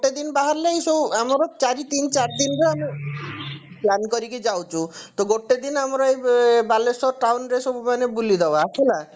ଗୋଟେ ଦିନ ବାହାରିଲେ ଇଏ ସବୁ ଆମର ଚାରି ତିନ ଚାରି ଦିନରେ ଆମେ plan କରିକି ଯାଉଛୁ ତ ଗୋଟେ ଦିନ ଆମର ଏଇ ବାଲେଶ୍ଵର town ରେ ସବୁ ମାନେ ବୁଲିଦବା ହେଲା